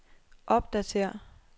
opdatér